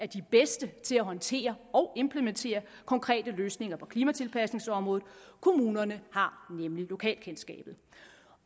de bedste til at håndtere og implementere konkrete løsninger på klimatilpasningsområdet kommunerne har nemlig lokalkendskabet